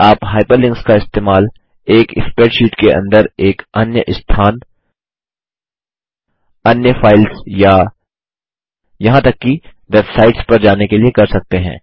आप हाइपरलिंक्स का इस्तेमाल एक स्प्रैडशीट के अंदर एक अन्य स्थान अन्य फाइल्स या यहाँ तक कि वेबसाइट्स पर जाने के लिए कर सकते हैं